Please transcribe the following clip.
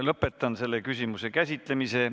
Lõpetan selle küsimuse käsitlemise.